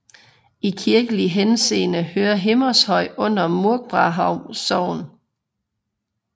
I kirkelig henseende hører Himmershøj under Munkbrarup Sogn